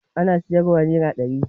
Ana siyarwa nera ɗari